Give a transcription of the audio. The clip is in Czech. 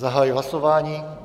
Zahajuji hlasování.